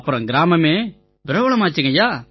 அப்புறமா எங்க கிராமமே பிரபலமாயிருச்சுய்யா